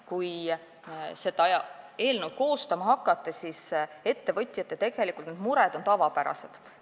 Kui seda eelnõu koostama hakati, siis ettevõtjate mured olid tavapärased.